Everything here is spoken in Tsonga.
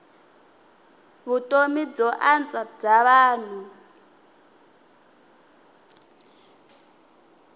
vutomi byo antswa bya vanhu